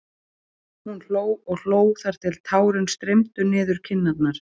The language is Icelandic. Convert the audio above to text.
Hún hló og hló þar til tárin streymdu niður kinnarnar.